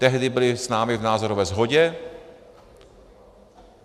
Tehdy byli s námi v názorové shodě.